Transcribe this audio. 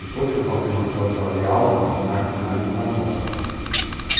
Depois que eu passei mais tarde para ler Altman, arte finalista, na Thompson.